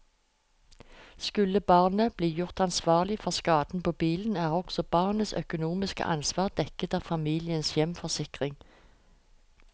Skulle barnet bli gjort ansvarlig for skaden på bilen, er også barnets økonomiske ansvar dekket av familiens hjemforsikring.